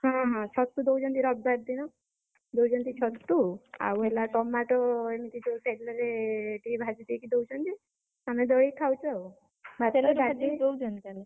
ହଁ ହଁ, ଛତୁ ଦଉଛନ୍ତି ରବିବାରେ ଦିନ ଦଉଛନ୍ତି ଛତୁ ଆଉ ହେଲା tomato ଏମିତି ଟିକେ ତେଲ ରେ ଟିକେ ଭାଜି ଦେଇ ଦଉଛନ୍ତି ଆମେ, ଦଳି କି ଖାଉଛୁ ଆଉ। ତେଲରେ ଭାଜି ଦେଇ ଦଉଛନ୍ତି ତାହେଲେ।